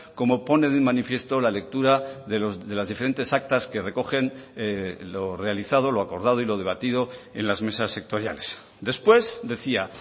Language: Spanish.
como pone de manifiesto la lectura de las diferentes actas que recogen lo realizado lo acordado y lo debatido en las mesas sectoriales después decía